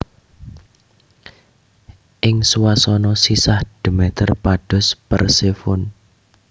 Ing swasana sisah Demeter pados Persefone